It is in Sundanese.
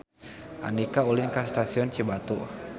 Andika ulin ka Stasiun Cibatu